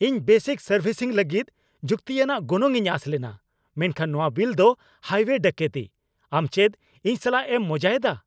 ᱤᱧ basic servicing ᱞᱟᱹᱜᱤᱫ ᱡᱩᱠᱛᱤᱭᱟᱱᱟᱜ ᱜᱚᱱᱚᱝ ᱤᱧ ᱟᱥ ᱞᱮᱱᱟ, ᱢᱮᱱᱠᱷᱟᱱ ᱱᱚᱶᱟ ᱵᱤᱞ ᱫᱚ ᱦᱟᱭᱣᱭᱮ ᱰᱟᱹᱠᱟᱹᱛᱤ ! ᱟᱢ ᱪᱮᱫ ᱤᱧ ᱥᱟᱞᱟᱜ ᱮᱢ ᱢᱚᱡᱟᱭᱫᱟ ?